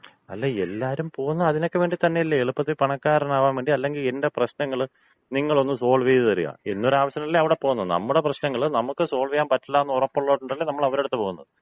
അല്ല, എല്ലാരും പോകുന്നത് അതിനൊക്കെ വേണ്ടി തന്നെയല്ലേ? എളുപ്പത്തി പണക്കാരനാകാൻ വേണ്ടി. അല്ലെങ്കി എന്‍റെ പ്രശ്നങ്ങള് നിങ്ങളൊന്ന് സോൾവ് ചെയ്ത് തരിക, എന്നൊരാവശ്യത്തിനല്ലേ അവിടെ പോകുന്നത്. നമ്മുടെ പ്രശ്നങ്ങള് നമുക്ക് സോൾവ് ചെയ്യാൻ പറ്റില്ലാന്ന് ഉറപ്പൊള്ളത്കൊണ്ടല്ലേ നമ്മള് അവരടുത്ത് പോകുന്നത്.